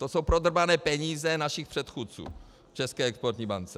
To jsou prodrbané peníze našich předchůdců v České exportní bance!